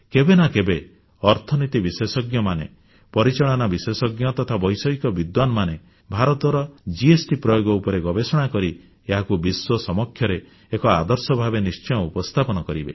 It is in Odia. କେବେ ନା କେବେ ଅର୍ଥନୀତି ବିଶେଷଜ୍ଞମାନେ ପରିଚାଳନା ବିଶେଷଜ୍ଞ ତଥା ବୈଷୟିକ ବିଦ୍ୱାନମାନେ ଭାରତର ଜିଏସଟି ପ୍ରୟୋଗ ଉପରେ ଗବେଷଣା କରି ଏହାକୁ ବିଶ୍ୱ ସମକ୍ଷରେ ଏକ ଆଦର୍ଶ ଭାବେ ନିଶ୍ଚୟ ଉପସ୍ଥାପିତ କରିବେ